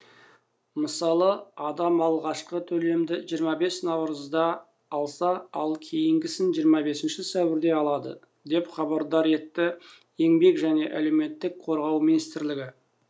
мысалы адам алғашқы төлемді жиырма бес наурызда алса ал кейінгісін жиырма бесінші сәуірде алады деп хабардар етті еңбек және әлеуметтік қорғау министрлігі